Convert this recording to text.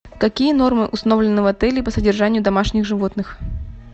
какие нормы установлены в отеле по содержанию домашних животных